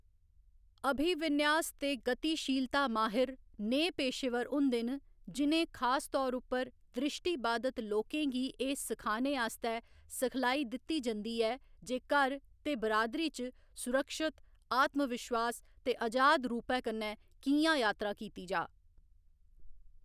अभिविन्यास ते गतिशीलता माहिर नेहे पेशेवर होंदे न जि'नें खासतौर उप्पर दृश्टिबाधित लोकें गी एह्‌‌ सखाने आस्तै सिखलाई दित्ती जंदी ऐ जे घर ते बिरादरी च सुरक्षत, आत्मविश्वास ते अजाद रूपै कन्नै कि'यां यात्रा कीती जाऽ।